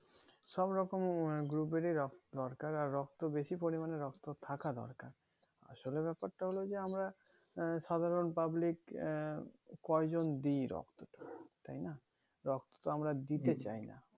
সব রকম group এর ই রক্ত দরকার আর বেশি পরিমানে রক্ত থাকার দরকার আসলে ব্যাপারটা হলো যে আমরা আহ সাধারণ public আহ কয়েকজন দি রক্ত তাইনা রক্ততো আমরা দিতে চাইনা